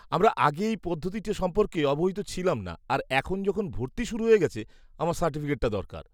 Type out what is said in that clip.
আমরা আগে এই পদ্ধতিটি সম্পর্কে অবহিত ছিলাম না আর এখন যখন ভর্তি শুরু হয়ে গেছে, আমার সার্টিফিকেটটা দরকার।